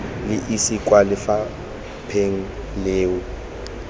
le esi kwa lefapheng lengwe